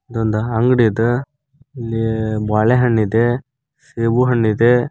ಇದೊಂದ್ ಅಂಗಡಿ ಇದ್ ಇಲ್ಲಿ ಬಾಳೆಹಣ್ಣಿದೆ ಸೇಬುಹಣ್ಣಿದೆ.